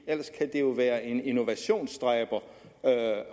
ellers kan det jo være en innovationsdræber